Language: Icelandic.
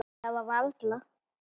Það var varla.